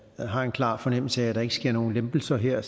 har en klar fornemmelse af at der ikke sker nogen lempelser her